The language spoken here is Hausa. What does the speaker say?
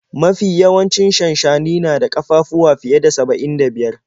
Mafi yawancin shanshani na da ƙafafuwa fiye da saba'in da biyar.